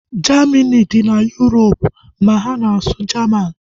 Jamini dị na Yurop ma ha na-asụ Jaman